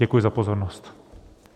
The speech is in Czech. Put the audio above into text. Děkuji za pozornost.